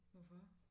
Hvorfor